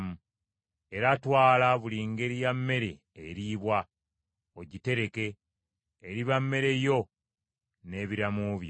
Era twala buli ngeri ya mmere eriibwa, ogitereke; eriba mmere yo n’ebiramu byo.”